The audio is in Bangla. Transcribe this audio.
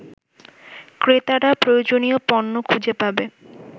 ক্রেতারা প্রয়োজনীয় পণ্য খুঁজে পাবে